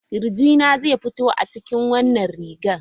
Kirjina zai fito a cikin wannan rigar.